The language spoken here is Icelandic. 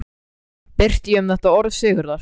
Birti ég um þetta orð Sigurðar